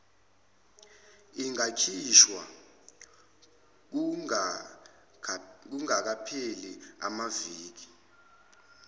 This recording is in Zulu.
ingakhishwa kungakapheli amaviki